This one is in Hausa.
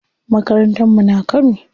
Makarantar mu na Kano.